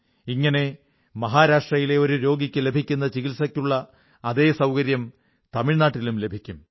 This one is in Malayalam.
ഇങ്ങനെ മഹാരാഷ്ട്രയിലെ ഒരു രോഗിക്ക് ലഭിക്കുന്ന ചികിത്സയ്ക്കുള്ള അതേ സൌകര്യം തമിഴ്നാട്ടിലും ലഭിക്കും